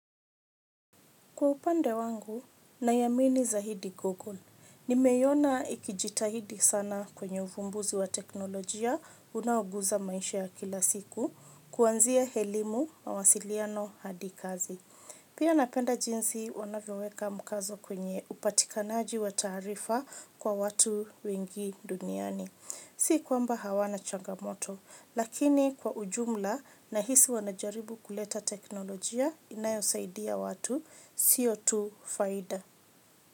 Kwa upande wangu, naiamini zahidi gogon. Nimeiona ikijitahidi sana kwenye uvumbuzi wa teknolojia unao guza maisha ya kila siku, kuanzia helimu mawasiliano hadi kazi. Pia napenda jinsi wanavyoweka mkazo kwenye upatikanaji wa taarifa kwa watu wengi duniani. Si kwamba hawana changamoto, lakini kwa ujumla nahisi wanajaribu kuleta teknolojia inayosaidia watu sio tu faida.